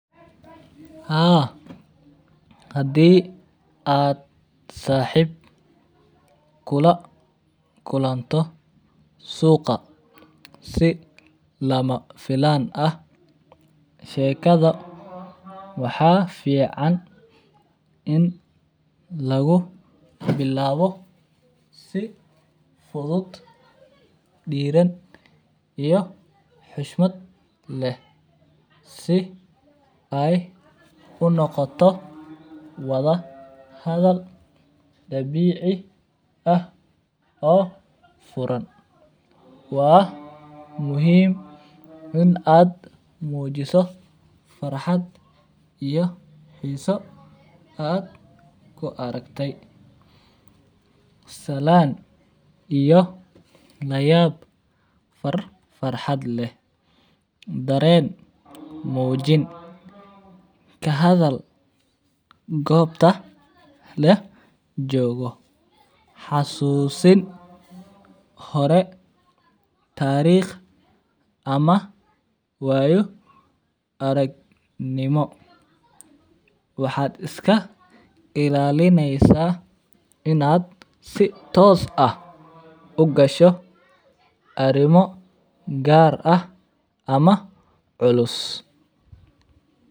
Haa adi aad saxib kula kulanto suqa ama filan ah shekaada waxaa fican in lagu bilawo si fudud oo xoshmaad leh si ay unoqoto wadha hadal dabici ah oo furan waa muhiim In aad mujiso farxaad iyo xiso aad ku aragte, salan iyo layab farxaad leh daren mujin leh ka hadhal gobta lajogo, xasusin hore tariq ama wayo arag nimo waxaa iska ilalineysa in aa si tos ah u gasho arimo gar ah ama culus.